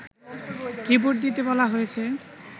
report দিতে বলা হয়েছে